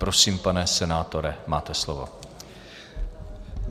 Prosím, pane senátore, máte slovo.